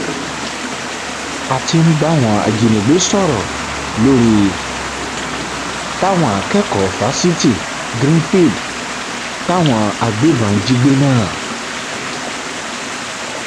a ti ń báwọn ajínigbé sọrọ lórí táwọn akẹkọọ fásitì greenfield táwọn agbébọn jí gbé náà